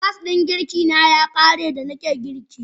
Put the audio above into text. Gas ɗin girkina ya ƙare da nake girki.